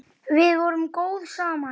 Við vorum góð saman.